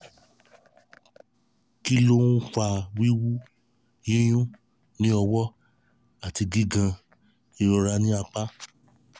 kí ló ń fa wiwu/ yiyun ní ọwọ́ àti gigan/ ìrora ní apá?